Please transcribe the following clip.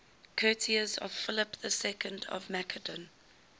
courtiers of philip ii of macedon